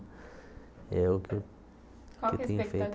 É o que eu tenho feito Qual que é a expectativa